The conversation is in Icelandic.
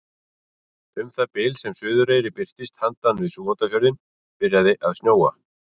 Um það bil sem Suðureyri birtist handan við Súgandafjörðinn byrjaði að snjóa.